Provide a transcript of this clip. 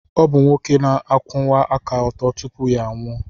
Ọ bụ nwoke na-akwụwa aka ọtọ tupu ya anwụọ.